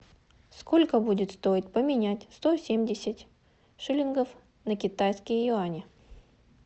сколько будет стоить поменять сто семьдесят шиллингов на китайские юани